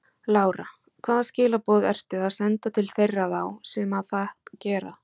Lára: Hvaða skilaboð ertu að senda til þeirra þá sem að það gera?